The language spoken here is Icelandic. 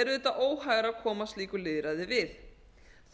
auðvitað óhægara að koma slíku lýðræði við